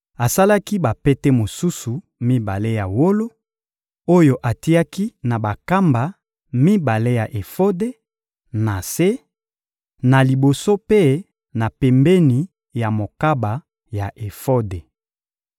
Asalaki bapete mosusu mibale ya wolo oyo atiaki na bankamba mibale ya efode, na se, na liboso mpe na pembeni ya mokaba ya efode.